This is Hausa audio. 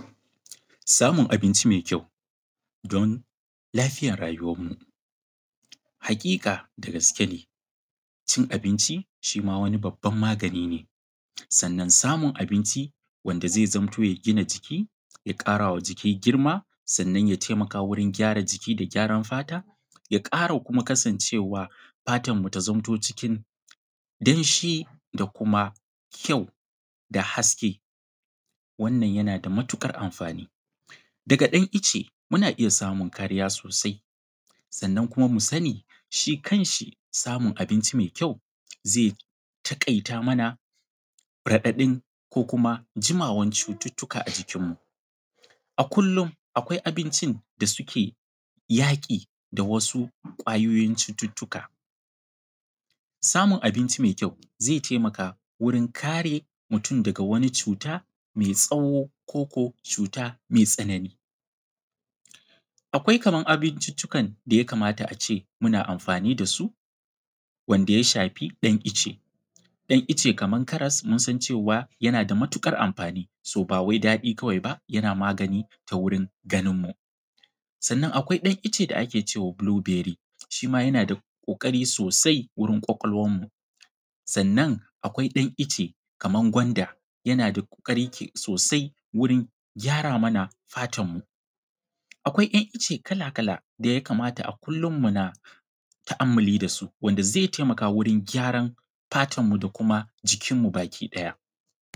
Samun abinci mai kyau don lafiyar rayuwanmu. Hakika da gaske ne cin abinci wani babban magani ne, sannan samun abinci wanda zai zamto ya gina jiki, ya ƙarawa jiki girma, sannan ya taimawa wajen gyara jiki da gyaran fata, ya ƙara kuma kasancewa fatan bata zamto cikin damshi da kuma kyau da haske, wannan yana da matuƙar amfani. Daga ɗan ice muna iya samun kariya sosai, sannan kuma mu sani shi kanshi samun abinci mai kyau zai takaita mana raɗaɗin ko kuma jimawan cututuka a jikinmu. A kullum akwai abincin da suke yaƙi da wasu ƙwayoyin cututuka. Samun abinci mai kyau ze taimaka wurin kare mutum daga wani cuta mai tsawo koko cuta mai tsanani. Akwai kaman abincicikan daya kamata ace muna amfani dasu wanda ya shafi ɗan ice, ɗan ice kaman karas, mun san cewa yana da matuƙar amfani so ba wai daɗi kawai ba yana magani ta wurin ganinmu. Sannan akwai dan ice da ake cewa bulu bery, shima yana da ƙoƙari sosai wurin ƙwaƙwalwarmu, sannan akwai dan ice kaman gwanda yana da ƙoƙari sosai wurin gyara mana fatanmu. Akwai ‘yan ice kala-kala daya kamata a kullum muna tu’amuli dasu, wanda zai taimaka wurin gyaran fatanmu da kuma jikinmu baki ɗaya.